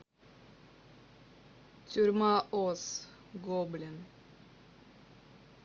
тюрьма оз гоблин